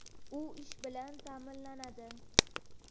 U ish bilan ham ta’minlanadi.